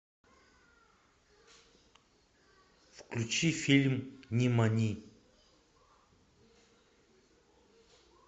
включи фильм нимани